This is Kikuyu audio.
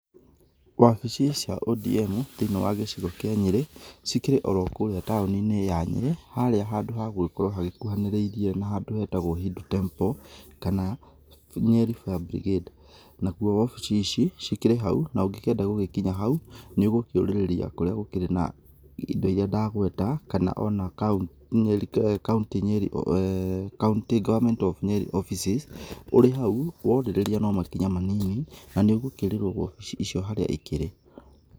Wabici cia ODM thĩ-inĩ wa gĩcigo kĩa Nyerĩ, cikĩrĩ o ro kũrĩa taũni-inĩ ya Nyeri, harĩa handũ hagũgĩkorwo hakuhanĩrĩirie na handũ hetagwo Hindu Temple kana Nyeri Fire Brigade. Nakuo obici ici cikĩrĩ hau, na ũngĩkĩenda gũgĩkinya hau nĩ ũgũkĩũrĩrĩria kũrĩa gũkĩrĩ na indo iria ndagweta kana ona County Government of Nyeri offices, ũrĩ hau, worĩrĩria no makinya manini, na nĩ ũgũkĩrĩrwo obici icio harĩa cikĩrĩ.